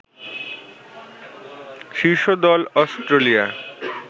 শীর্ষ দল অস্ট্রেলিয়া